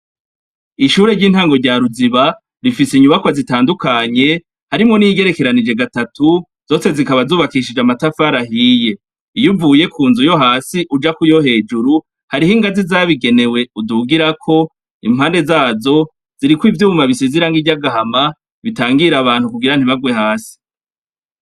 Ishure ry'intango rya Ruziba rifise inyubakwa zitandukanye harimwo n'iyigerekeranije gatatu, zose zikaba zubakishije amatafari ahiye, iyo uvuye ku nzu yo hasi uja kuyo hejuru hariho ingazi zabigenewe udugirako, impande zazo ziriko ivyuma bisize iranga ry'agahama bitangira abantu kugira ntibagwe hasi.